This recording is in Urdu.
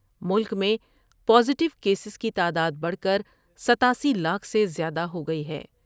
ملک میں پازیٹوکیسز کی تعداد بڑھ کر ستاسی لاکھ سے زیادہ ہوگئی ہے ۔